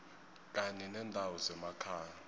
kanye nendawo zemakhaya